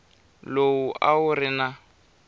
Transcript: lowu a wu ri na